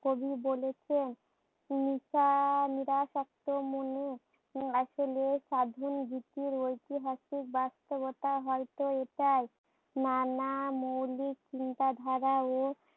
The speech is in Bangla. কবি বলেছেন, হিংসা নিরাসক্ত মুনি। আসলে সাধন ভিত্তি রয়েছে বাস্তবতা হয়ত এটাই। নানা মৌলিক চিন্তাধারা ও